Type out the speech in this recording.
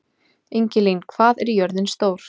Ingilín, hvað er jörðin stór?